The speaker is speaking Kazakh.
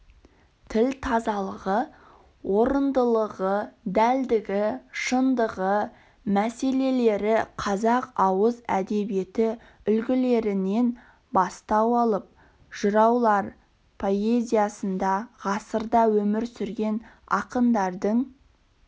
тіл тазалығы орындылығы дәлдігі шындығы мәселелері қазақ ауыз әдебиеті үлгілерінен бастау алып жыраулар поэзиясында ғасырда өмір сүрген ақындардың